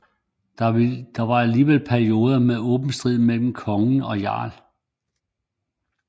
Der var alligevel perioder med åben strid mellem konge og jarl